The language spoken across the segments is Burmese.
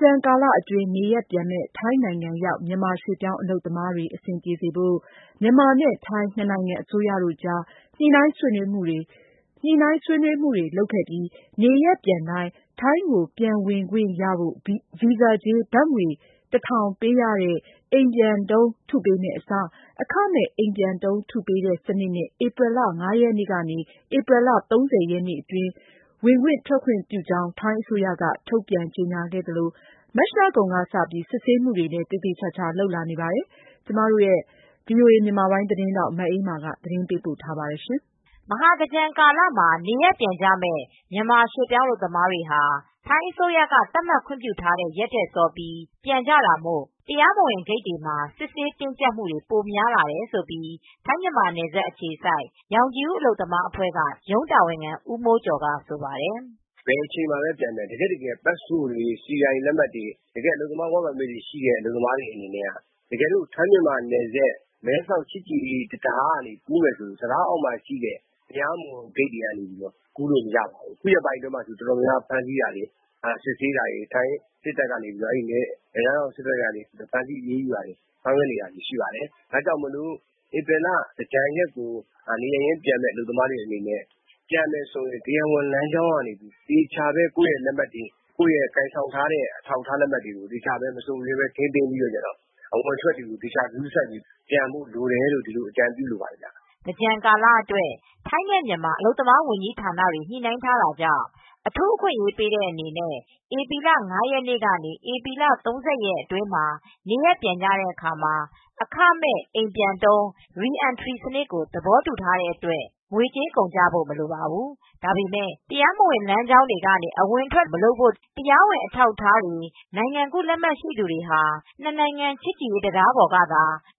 ကြန် ကာလအတွင်း နေရပ်ပြန်မယ့် ထိုင်းနိုင်ငံရောက် မြန်မာရွှေ့ပြောင်း အလုပ်သမားတွေ အဆင်ပြေစေဖို့ မြန်မာနဲ့ထိုင်း ၂ နိုင်ငံ အစိုးရတို့ကြား ညှိနှိုင်းဆွေးနွေးမှုတွေ လုပ်ခဲ့ပြီး နေရပ်ပြန်တိုင်း ထိုင်းကိုပြန်ဝင်ခွင့်ရဖို့ ဗီဇာကြေး ဘတ်ငွေ ပေးရတဲ့ အိမ်ပြန်တုံး ထုပေးမယ့် အစား အခမဲ့အိမ်ပြန်တုံး ထုပေးတဲ့စနစ်နဲ့ ဧပြီလ ရက်နေ့ကနေ ဧပြီလ ရက်နေ့ အတွင်း ဝင်/ထွက်ခွင့်ပြုကြောင်း ထိုင်းအစိုးရက ထုတ်ပြန်ကြေညာခဲ့သလို မတ်လကုန်ကစပြီး စစ်ဆေးမှုတွေလည်း သေသေချာချာ လုပ်လာနေပါတယ်။ အပြည့်အစုံကို ထိုင်းအခြေစိုက် VOA သတင်းထောက် မအေးအေးမာက သတင်းပေးပို့ထားပါတယ်။ မဟာသင်္ကြန်ကာလမှာ နေရပ်ပြန်မယ့် မြန်မာရွှေ့ပြောင်းအလုပ်သမားတွေဟာ ထိုင်းအစိုးရက သတ်မှတ်ခွင့်ပြုထားတဲ့ ရက်ထက်စောပြီး ပြန်တာမို့ တရားမဝင်ဂိတ်တွေမှာ စစ်ဆေး တင်းကြပ်မူတွေ ပိုများလာတယ်လို့ ထိုင်း- မြန်မာနယ်စပ်အခြေစိုက် ရောင်ခြည်ဦး အလုပ်သမားအဖွဲက ရုံးတာဝန်ခံ ဦးမိုးကျော်က ဆိုပါတယ်။ “ဘယ်အချိန်မှာပဲပြန်ပြန် တကယ်က ပတ်စပို့တွေ၊ စီအိုင်လက်မှတ်တွေ၊ အလုပ်သမား လက်မှတ်တွေ ရှိမယ်ဆိုရင် မဲဆောက် ချစ်ကြည်ရေး တံတားအောက်ကနေ တရားမဝင်ဂိတ်တွေက ကူးလို့မရပါဘူး။ အခုရက်ပိုင်းမှာ စစ်ဆေးတာ၊ ဖမ်းဆီးတာ ထိုင်းစစ်တပ်က နယ်ခြားစစ်တပ်ကနေ ဖမ်းဆီးအရေးယူနေ တာတွေရှိနေပါတယ်။ ဒါကြောင့် ဧပြီလ သင်္ကြန်ကာလ ပြန်မယ့်အလုပ်သမားတွေအနေနဲ့ပြန်မယ်ဆိုရင် တရားဝင်လမ်းကြောင်းကနေ သေချာ ကိုယ့်လက်မှတ်တွေ ၊ ကိုင်ဆောင်ထားတဲ့ အထောက်အထားတွေနဲ့ အဝင်အထွက်တွေကို သေချာဂရုစိုက်ပြီး ပြန်ဖို့လိုတယ် ဆိုတာကိုတော့ အကြံပြုလိုပါတယ်” သင်္ကြန်ကာလအတွက် ထိုင်းနဲ့ မြန်မာ အလုပ်သမားဝန်ကြီးဌာနတွေ ညှိနှိုင်းထားတာကြောင့် အထူးအခွင့်ရေး ပေးတဲ့အနေနဲ့ ဧပြီလ ၅ရက်နေ့ကနေ ဧပြီလ ၃၀ရက်အတွင်းမှာ နေရပ်ပြန်တဲ့အခါ မှာ အခမဲ့ အိမ်ပြန်တုံး စနစ်ကို သဘောတူထားတဲ့အတွက် ငွေကြေးကုန်ကျဖို့ မလိုပါဘူး။ ဒါပေမဲ့ တရားမဝင် လမ်းကြောင်းတွေ ကနေ အဝင်ထွက် မလုပ်ဖို့ တရားဝင် အထောက်အထားတွေ နိုင်ငံကူး လက်မှတ်ရှိသူတွေဟာ နှစ်နိုင်ငံ ချစ်ကြည်ရေးတံတား ပေါ်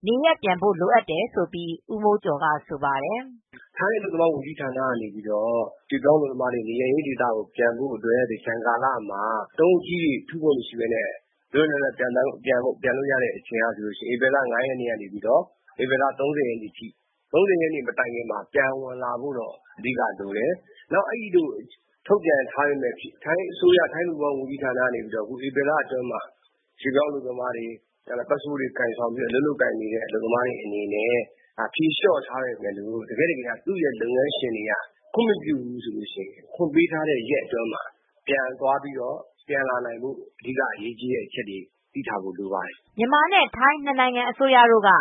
နေကနေသာပြန်ဖို့ လိုအပ်တယ်လို့ ရောင်ခြည်ဦး အလုပ်သမားအဖွဲ့က ဦးမိုးကျော်က ဆိုပါတယ်။ “ထိုင်းအလုပ်သမားဝန်ကြီးဌာနကနေ ရွှေ့ပြောင်း အလုပ်သမားတွေ နေရပ်ရင်းပြန်ဖို့အတွက် ပြန်ဖို့အချိန်က သင်္ကြန်ကာလ အချိန်မှာ တုံးအကြီးကြီး ဗီဇာတုံးတွေ ထုစရာမလိုပဲ လွတ်လွတ်လပ်လပ် ပြန်နိုင်ချိန်က ဧပြီ လ ၅ရက်နေ့ ကနေ ဧပြီလ ၃၀ထိ။ ၃၀ ရက်နေ့ မတိုင်ခင်မှာ ပြန်ဝင်လာဖို့တော့ အဓိက လိုတယ်။ နောက် အဲဒီလို ထုတ်ပြန်ထားပေမယ့် ထိုင်း အလုပ်သမား ဝန်ကြီးဌာနက ဧပြီလအတွင်းမှာ ရွှေ့ပြောင်းအလုပ်သမားတွေ ပတ်စပို့တွေ ကိုင်ထားပြီးတော့ အလုပ်လုပ်နေတဲ့သူတွေကို ဖြေလျော့ထားပေမဲ့လို့တကယ့်တကယ်က သူ့ အလုပ်ရှင်တွေက ခွင့်မပြုဘူးဆိုရင် တော့ ခွင့်ပေးထားတဲ့ ရက်အတွင်း ပြန်သွားပြီး ပြန်ဝင်လာဖို့ အဓိကအရေးကြီးတဲ့အချက်တွေ သိထားဖို့ လိုပါတယ်” မြန်မာနှင့် ထိုင်း နှစ်နိုင်ငံအစိုးရတို့က တ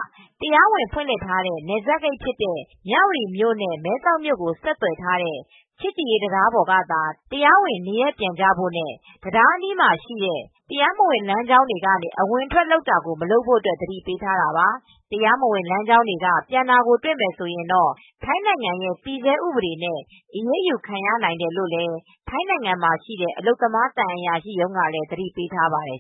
ရားဝင်ဖွင့်လှစ်ထားတဲ့ နယ်စပ်ဂိတ်ဖြစ်တဲ့ မြဝတီမြို့နဲ့ မဲဆောက်မြို့ကို ဆက်သွယ်ထားတဲ့ ချစ်ကြည်ရေး တံတားပေါ်ကသာ တရားဝင်နေရပ် ပြန်ဖို့ နဲ့ တံတားအနီးမှာရှိတဲ့ တရားမဝင် လမ်းကြောင်းတွေ ကနေ အဝင်ထွက်လုပ်တာကို မလုပ်ဖို့ သတိပေးထားတာပါ။ တရားမဝင် လမ်းကြောင်းက ပြန်တာကိုတွေ့မယ်ဆိုရင်တော့ ထိုင်းနိုင်ငံရဲ့တည်ဆဲဥပဒေနဲ့ အရေးယူခံရနိုင်တယ် လို့ ထိုင်းနိုင်ငံမှာရှိတဲ့ အလုပ်သမား သံအရာရှိရုံးကလည်း သတိပေးထား ပါတယ်